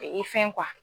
Fɛn